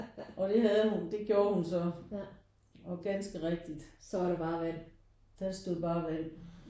Og det havde hun det gjorde hun så og ganske rigtigt der stod bare vand